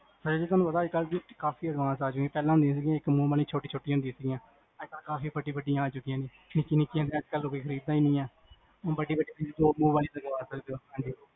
ਤੁਹਾਨੂੰ ਪਤਾ, ਅਜਕਲ ਦੇ ਕਾਫੀ advance ਆ ਜਿਵੇਂ ਪੇਹ੍ਲਾਂ ਹੁੰਦੀ ਸੀ, ਇਕ ਛੋੱਟੀ ਛੋੱਟੀ ਹੁੰਦੀਆਂ ਸੀਗੀਆਂ ਹੁਣ ਤਾਂ ਕਾਫੀ ਬੱਡੀ ਬੱਡੀ ਆ ਚੁਕੀਆਂ ਜੀ, ਨਿੱਕੀ ਨਿੱਕੀ ਅਜੇ ਕਲ ਕੋਈ ਖ੍ਰੀਦਾ ਹੀ ਨਹੀਂ ਹੈ ਵੱਡੀ ਵੱਡੀ ਤੁਸੀਂ ਦੋ ਮੂੰਹ ਵਾਲੀ ਲਗਵਾ ਸਕਦੇ ਹੋ, ਹਾਂਜੀ